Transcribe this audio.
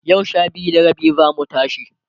yau Sha biyu da rabi zamu tashi